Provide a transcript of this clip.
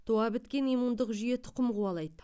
туа біткен иммундық жүйе тұқым қуалайды